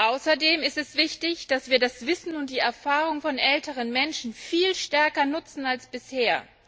Außerdem ist es wichtig, dass wir das Wissen und die Erfahrung von älteren Menschen viel stärker nutzen als bisher.